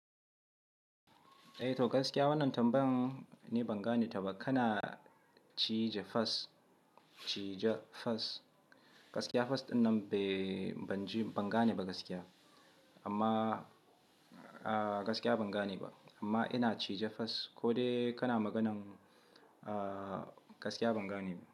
Eh to gaskiya wannan tambayan ne banga ne taba kana cije fas, cije fas, gaskiya fas dinnan bai banji banga ne ba gaskiya. Amma gaskiya banga ne ba, amma ina cije fas ko dai kana maganan gaskiya banga ne ba.